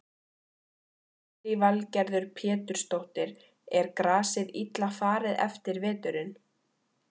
Lillý Valgerður Pétursdóttir: Er grasið illa farið eftir veturinn?